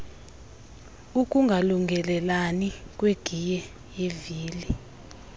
ukungalungelelani kwegiye yevili